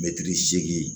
Mɛtiri seegin